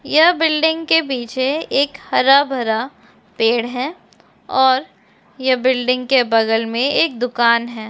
यहँ building के पीछे एक हरा भरा पेड है। और ये बिल्डिंग के बगल में एक दुकान है।